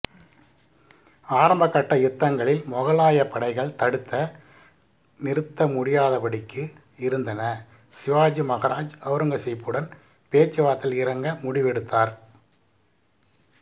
ஆரம்பகட்ட யுத்தங்களில் மொகலாய படைகள் தடுத்த நிறுத்த முடியாதபடிக்கு இருந்தன சிவாஜி மகாராஜ் அவுரங்காசீப்புடன் பேச்சுவார்த்தையில் இறங்க முடிவெடுத்தார்